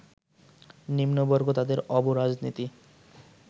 নিম্নবর্গ তাদের অব-রাজনীতি